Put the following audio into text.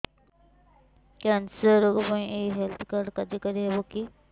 cancer ରୋଗ ପାଇଁ ଏଇ ହେଲ୍ଥ କାର୍ଡ କାର୍ଯ୍ୟକାରି ହେବ କି